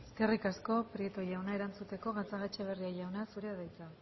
eskerrik asko prieto jauna erantzuteko gatzagaetxebarria jauna zurea da hitza